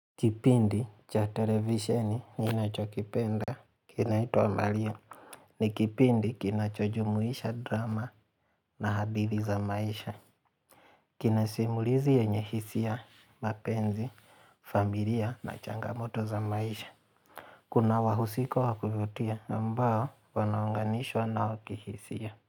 Kipindi cha televisioni ninachokipenda, kinaitwa Maria. Nikipindi kinachojumuisha drama na Hadhiri za maisha. Kina simulizi yenyehisia, mapenzi, familia na changamoto za maisha. Kuna wahusika wakuvutia, ambao wanaunganishwa na wakihisia.